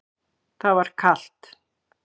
Það var kalt.